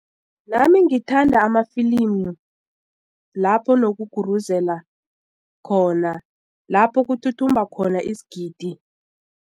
Nami ngithanda amafilimi lapho nokuguruzela khona lapho kuthuthumba khona isigidi.